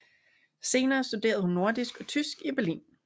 Senere studerede hun nordisk og tysk i Berlin